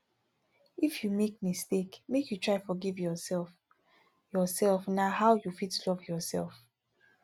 if you make mistake make you try forgive yourself yourself na how you fit love yoursef